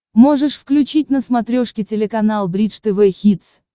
можешь включить на смотрешке телеканал бридж тв хитс